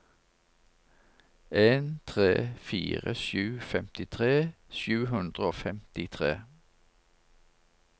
en tre fire sju femtitre sju hundre og femtitre